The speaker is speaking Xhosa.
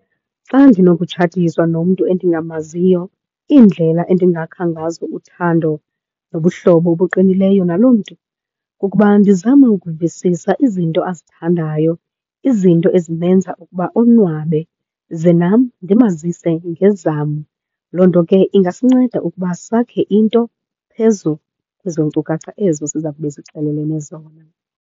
Xa ndinokutshatiswa nomntu endingamaziyo iindlela endingakha ngazo uthando nobuhlobo obuqinileyo naloo mntu kukuba ndizame ukuvisisa izinto azithandayo, izinto ezimenza ukuba onwabe ze nam ndimazise ngezam. Loo nto ke ingasinceda ukuba sakhe into phezu kwezo nkcukacha ezo siza kube sixelelene zona.